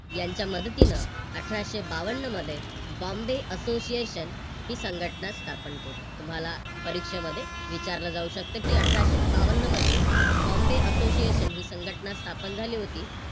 यांच्या मदतीनं अठराशे बावन्न मध्ये Bombay association ही संघटना स्थापन केली. तुम्हाला परीक्षेमध्ये विचारल जाऊ शकते की अठराशे बावन्न मध्ये Bombay association ही संघटना स्थापन झाली होती.